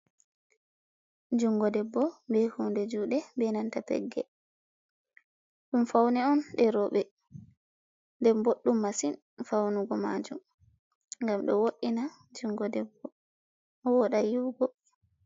Jungo debbo be hunde juɗe be nanta pegge, ɗum fauni on ɗe robe, den boɗɗum masin faunugo majum, gam ɗo wo ina jungo debbo woda yi'ugo.